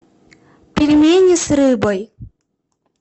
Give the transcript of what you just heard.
пельмени с рыбой